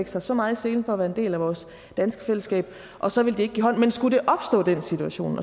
sig så meget i selen for at være en del af vores danske fællesskab og så vil de ikke give hånd men skulle den situation